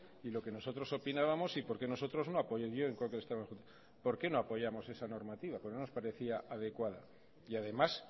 y lo que nosotros opinábamos y por qué nosotros no apoyamos esa normativa porque no nos parecía adecuada y además